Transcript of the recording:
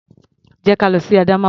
Jẹ́ ka lọ sí Adamawa.